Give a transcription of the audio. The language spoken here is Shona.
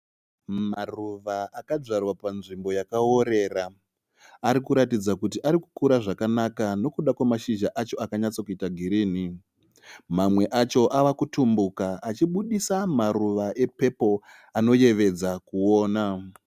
Maruva akadyarwa panzvimbo yakaorera Arikuratidza kuti arikukura zvakanaka nokuda kwemashizha acho akanyatsokuita girinhi. Mamwe acho avakutumbuka achibudisa maruva epepuri anonakidza kuona